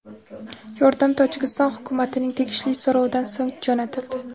Yordam Tojikiston hukumatining tegishli so‘rovidan so‘ng jo‘natildi.